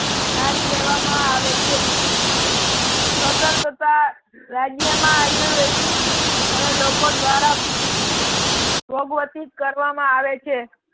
ધારી લેવા માં આવે છે. સ્વતંત્રતા રાજ્ય માં આયુર્વેદિક અને લોકો દ્વારા પ્રોગવતી કરવામાં આવે છે.